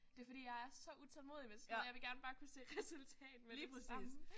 Det fordi jeg er så utålmodig med sådan noget. Jeg vil gerne bare kunne se resultat med det samme